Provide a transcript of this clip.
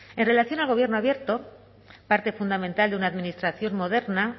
en relación al gobierno abierto parte fundamental de una administración moderna